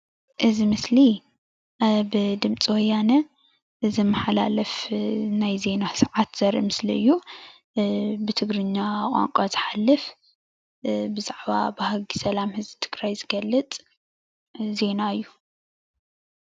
እዚ ምስሊ ኣብ ድምፂ ወያነ ብዝመሓላለፍ ናይ ዜና ሰዓት ዘርኢ ምስሊ እዩ። ብ ብትግርኛ ቋንቋ ዝሓልፍ ብዛዕባ ባህጊ ሰላም ህዝቢ ትግራይ ዝገልጽ ዜና እዩ።